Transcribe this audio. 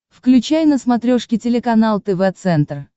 включай на смотрешке телеканал тв центр